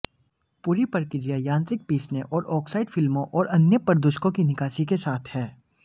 पूरी प्रक्रिया यांत्रिक पीसने और ऑक्साइड फिल्मों और अन्य प्रदूषकों की निकासी के साथ है